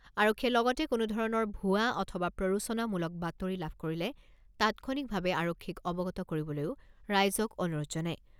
আৰক্ষীয়ে লগতে কোনোধৰণৰ ভুৱা অথবা প্ৰৰোচনামূলক বাতৰি লাভ কৰিলে তাৎক্ষণিকভাৱে আৰক্ষীক অৱগত কৰিবলৈও ৰাইজক অনুৰোধ জনায়।